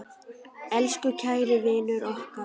Elsku kæri vinur okkar.